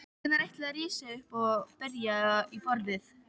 Hvenær ætlarðu að rísa upp og berja í borðið?